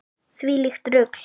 Þvílíkt rugl.